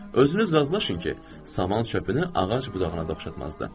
Özünüz razılaşın ki, saman çöpünü ağac budağına dəyişdirməzdiniz.